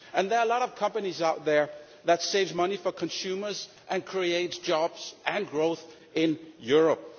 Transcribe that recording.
There are a lot of companies out there that save money for consumers and create jobs and growth in Europe.